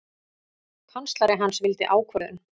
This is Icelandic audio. Kanslari hans vildi ákvörðun.